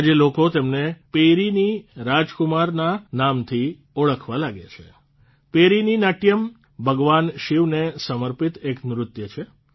આજે લોકો તેમને પેરિની રાજકુમારના નામથી ઓળખવા લાગ્યા છે પેરિની નાટ્યમ ભગવાન શિવને સમર્પિત એક નૃત્ય છે